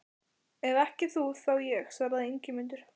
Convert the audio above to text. Ef ekki þú, þá ég, svaraði Ingimundur.